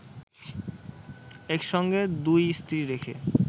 একসঙ্গে দুই স্ত্রী রেখে